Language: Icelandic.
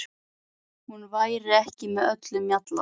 Hún væri ekki með öllum mjalla.